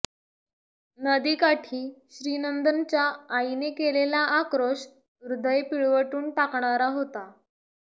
नदीकाठी श्रीनंदनच्या आईने केलेला आक्रोश हृदय पिळवटून टाकणारा होता